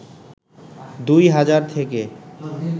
২হাজার থেকে